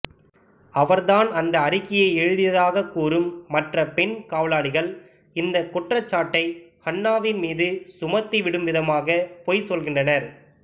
அவர்தான் அந்த அறிக்கையை எழுதியதாக கூறும் மற்ற பெண் காவலாளிகள் இந்தக் குற்றச்சாட்டை ஹன்னாவின் மீது சுமத்திவிடும்விதமாக பொய் சொல்கின்றனர்